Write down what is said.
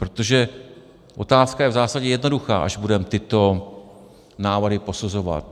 Protože otázka je v zásadě jednoduchá, až budeme tyto návrhy posuzovat.